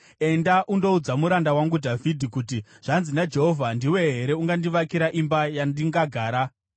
“Enda undoudza muranda wangu Dhavhidhi kuti, ‘Zvanzi naJehovha: Ndiwe here ungandivakira imba yandingagara?